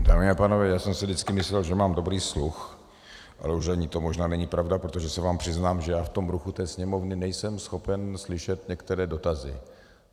Dámy a pánové, já jsem si vždycky myslel, že mám dobrý sluch, ale už ani to možná není pravda, protože se vám přiznám, že já v tom ruchu té Sněmovny nejsem schopen slyšet některé dotazy.